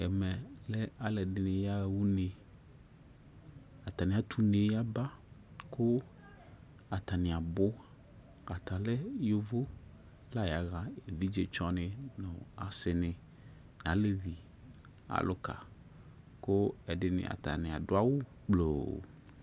Ɛmɛ lɛ alu ɛdini yaɣa une atani atu une yaba ku atani abu ata lɛ yovo la yaɣa evidzetsɔni asini alevi aluka ku ɛdini atani adu awu gbloo